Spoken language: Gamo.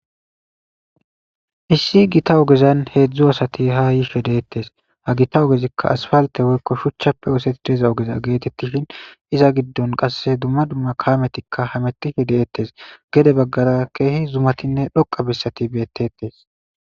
issi gita ogezan heedzdzu asati ha yishe deettes ha gita ogezikka asfalte woykko shuchchappe oosetieza ogeza geetettishin iza giddon qasse dumma dumma kaametikka hametihi deettes gede baggara keehi zumatinne dhoqa bissati beettetes